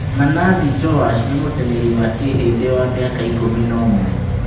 Manathi Joash nĩ mũteng'eri wa Kĩhĩndĩ wa mĩaka ikũmi na ũmwe.